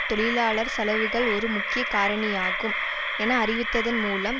தொழிலாளர் செலவுகள் ஒரு முக்கிய காரணியாகும் என அறிவித்ததன் மூலம்